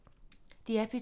DR P2